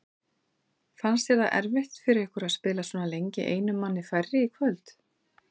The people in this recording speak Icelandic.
Fannst þér það erfitt fyrir ykkur að spila svona lengi einum manni færri í kvöld?